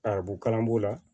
Arabu kalan b'o la